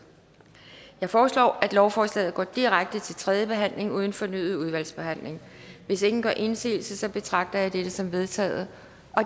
jeg foreslår at lovforslaget går direkte til tredje behandling uden fornyet udvalgsbehandling hvis ingen gør indsigelse betragter jeg dette som vedtaget